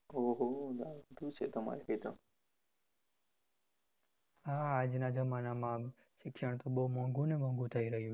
હા આજના જમાનામ તો શિક્ષણ બહુ મોઘુને મોઘું થહી રહ્યું છે